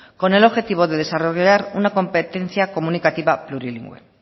con el objetivo de desarrollar una competencia comunicativa plurilingüe